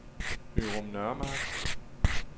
Ørum Nørremark